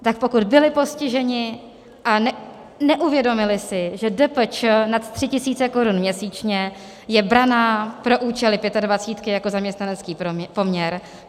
Tak pokud byli postiženi a neuvědomili si, že DPČ nad 3 tisíce korun měsíčně je brána pro účely Pětadvacítky jako zaměstnanecký poměr.